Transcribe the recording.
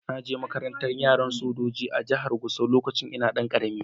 Na je makarantan yaran sojoji a'jihar Gusau lokacin da n'na karemi.